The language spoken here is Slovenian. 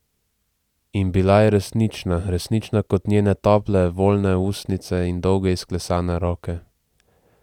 In bila je resnična, resnična kot njene tople, voljne ustnice in dolge, izklesane roke.